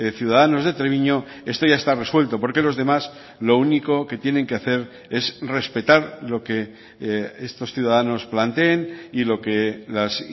ciudadanos de treviño esto ya está resuelto porque los demás lo único que tienen que hacer es respetar lo que estos ciudadanos planteen y lo que las